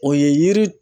O ye yiri